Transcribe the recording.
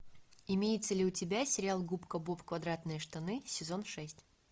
имеется ли у тебя сериал губка боб квадратные штаны сезон шесть